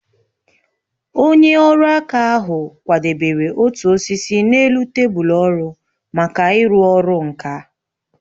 Onye ọrụ aka ahụ kwadebere otu osisi n'elu tebụl ọrụ maka ịrụ ọrụ nka